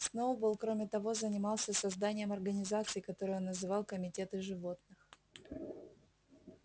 сноуболл кроме того занимался созданием организаций которые он называл комитеты животных